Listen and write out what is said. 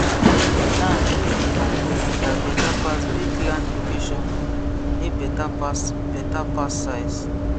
land wey dey for good area beta pass big land location dey better pass better pass size